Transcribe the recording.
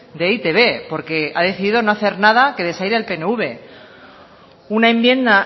de e i te be porque ha decidido no hacer nada que desaire al pnv una enmienda